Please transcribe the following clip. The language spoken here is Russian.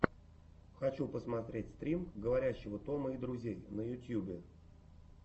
хочу посмотреть стрим говорящего тома и друзей на ютьюбе